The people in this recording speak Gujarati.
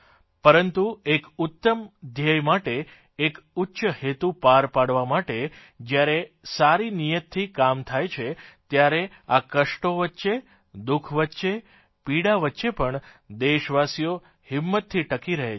પરંતુ એક ઉત્તમ ધ્યેય માટે એક ઉચ્ચ હેતુ પાર પાડવા માટે જયારે સારી નિયતથી કામ થાય છે ત્યારે આ કષ્ટો વચ્ચે દુઃખ વચ્ચે પીડા વચ્ચે પણ દેશવાસીઓ હિંમતથી ટકી રહે છે